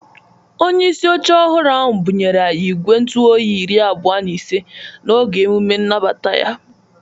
Onyeisi oche ọhụrụ ahụ bụnyere anyi igwe ntụoyi iri abụọ na ise n'oge emume inabata ya